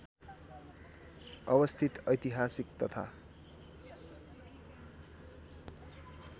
अवस्थित ऐतिहासिक तथा